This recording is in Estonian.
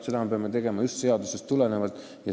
Seda me peame tegema just seadusest tulenevalt.